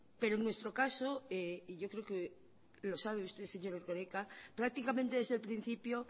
pero en nuestro caso y yo creo que lo sabe usted señor erkoreka prácticamente desde el principio